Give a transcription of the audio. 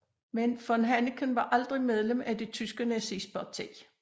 Men von Hanneken var aldrig medlem af det tyske nazistparti